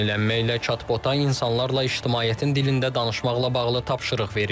Bu yenilənmə ilə chatbota insanlarla ictimaiyyətin dilində danışmaqla bağlı tapşırıq verilib.